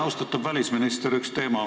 Austatud välisminister!